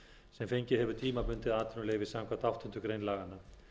sem fengið hefur tímabundið atvinnuleyfi samkvæmt áttundu grein laganna